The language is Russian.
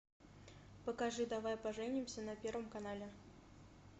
покажи давай поженимся на первом канале